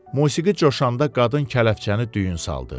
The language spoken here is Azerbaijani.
Musiqi coşanda qadın kələfçəni düyün saldı.